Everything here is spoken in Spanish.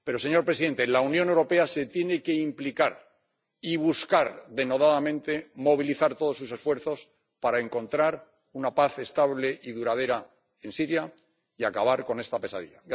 Pero, señor presidente, la Unión Europea se tiene que implicar y buscar denodadamente movilizar todos sus esfuerzos para encontrar una paz estable y duradera en Siria y acabar con esta pesadilla.